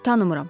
Tanımıram.